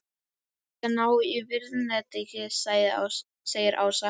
Ég skal ná í vírnetið segir Ása.